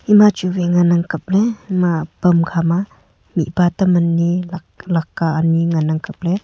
ema ch wai ngan ang kapley ema phon khama mihpa tam ani laddka ani ngan ang kap ley.